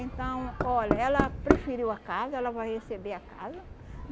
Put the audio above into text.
Então, olha, ela preferiu a casa, ela vai receber a casa.